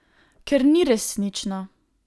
Ker ni resnično.